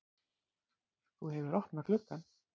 Þú hefur opnað gluggann!